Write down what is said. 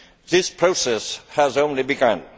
This process has only begun.